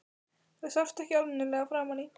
Það sást ekki almennilega framan í